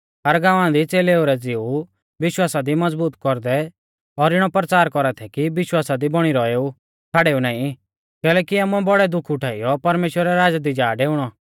हर गांवा दी च़ेलेऊ रै ज़िऊ विश्वासा दी मज़बूत कौरदै और इणौ परचार कौरा थै कि विश्वासा दी बौणी रौएऊ छ़ाड़ेऊ नाईं कैलैकि आमुऐ बौड़ै दुख उठाइयौ परमेश्‍वरा रै राज़ा दी जा डेउणौ